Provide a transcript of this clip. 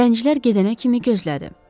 Zəncilər gedənə kimi gözlədi.